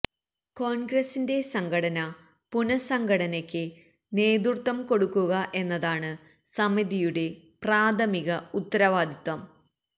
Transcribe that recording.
കോണ്ഗ്രസിന്റെ സംഘടന പുനസ്സംഘടനക്ക് നേതൃത്വം കൊടുക്കുക എന്നതാണ് സമിതിയുടെ പ്രാഥമിക ഉത്തരവാദിത്വം